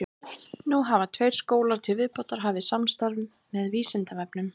Nú hafa tveir skólar til viðbótar hafið samstarf með Vísindavefnum.